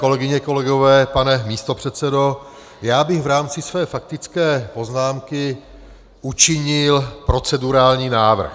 Kolegyně, kolegové, pane místopředsedo, já bych v rámci své faktické poznámky učinil procedurální návrh.